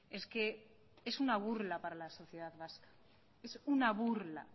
es que es una burla para la sociedad vasca es una burla